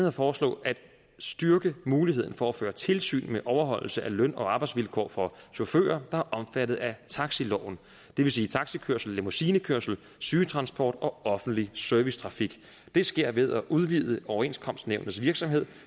at foreslå at styrke muligheden for at føre tilsyn med overholdelse af løn og arbejdsvilkår for chauffører der er omfattet af taxiloven det vil sige taxikørsel limousinekørsel sygetransport og offentlig servicetrafik det sker ved at udvide overenskomstnævnets virksomhed